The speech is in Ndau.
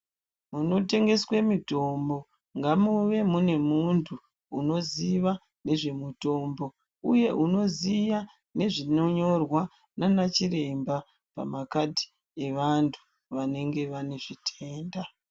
Munotengeswa mitombo ngamuve mune muntu unoziya nezvemitombo uye unoziya nezvinonyorwa naanachiremba pamakadhi evantu vanenge vane zvitenda